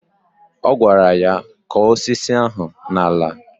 Ọ gwara ya " Kọ̀ọ́ osisi ahụ n'ala"